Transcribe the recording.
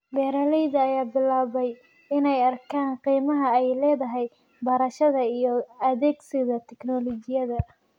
Beeralayda ayaa bilaabay inay arkaan qiimaha ay leedahay barashada iyo adeegsiga tignoolajiyada.